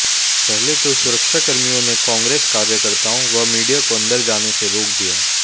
पहले तो सुरक्षाकर्मियों ने कांग्रेस कार्यकर्ताओं व मीडिया को अंदर जाने से रोक दिया